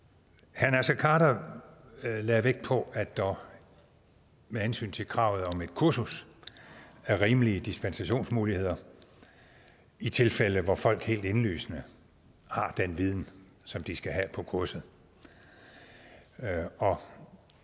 herre naser khader lagde vægt på at der med hensyn til kravet om et kursus er rimelige dispensationsmuligheder i tilfælde hvor folk helt indlysende har den viden som de skal have på kurset og